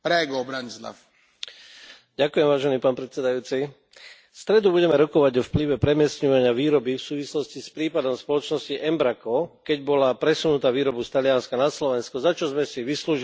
Vážený pán predsedajúci, v stredu budeme rokovať o vplyve premiestňovania výroby v súvislosti s prípadom spoločnosti Embraco, keď bola presunutá výroba z Talianska na Slovensko, za čo sme si vyslúžili medzinárodnú kritiku.